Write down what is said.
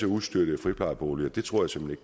ustøttede friplejeboliger det tror jeg simpelt